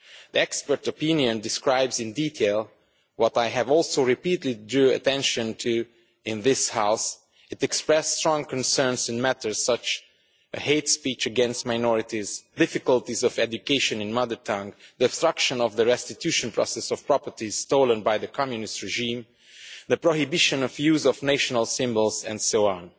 The expert opinion describes in detail what I have also repeatedly drawn attention to in this House it expresses serious concerns regarding matters such as hate speech against minorities, difficulties regarding education in students' mother tongue, the obstruction of the restitution process for properties stolen by the communist regime, the prohibition of the use of national symbols, and so on.